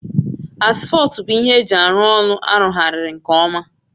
Asfọltụ bụ ihe eji arụ ọrụ arụgharị nke ọma